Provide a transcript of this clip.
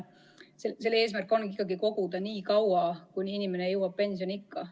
Selle eesmärk on koguda nii kaua, kuni inimene jõuab pensioniikka.